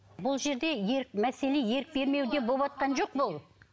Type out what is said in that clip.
бұл жерде ерік мәселе ерік бермеуде боватқан жоқ бұл